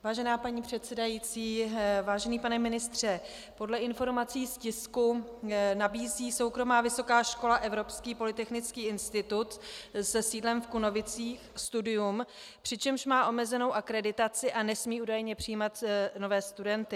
Vážená paní předsedající, vážený pane ministře, podle informací z tisku nabízí soukromá vysoká škola Evropský polytechnický institut se sídlem v Kunovicích studium, přičemž má omezenou akreditaci a nesmí údajně přijímat nové studenty.